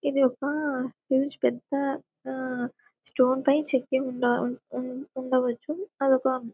ఇది ఒక పెద్ద ఆ స్టోన్ పై చెక్కి ఉండ-ఉన్-ఉన్- ఉండవచ్చు అదొక --